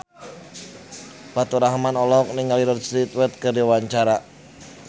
Faturrahman olohok ningali Rod Stewart keur diwawancara